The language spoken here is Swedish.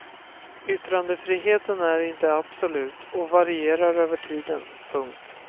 Yttrandefriheten är inte absolut och varierar över tiden. punkt